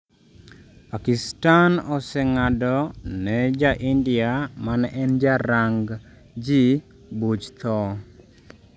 Pakistan oseng'edo ne ja ndia ma ne en ja rang' ji buch tho